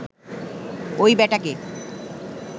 ওই ব্যাটাকে